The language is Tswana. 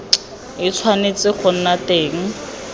e tshwanetse go nna teng